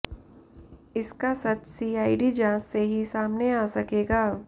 इसका सच सीआईडी जांच से ही सामने आ सकेगा